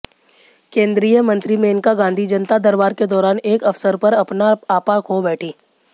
केंद्रीय मंत्री मेनका गांधी जनता दरबार के दौरान एक अफसर पर अपना आपा खो बैठी